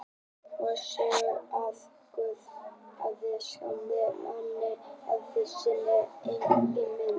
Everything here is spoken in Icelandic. Mósebók að Guð hafi skapað manninn eftir sinni eigin mynd.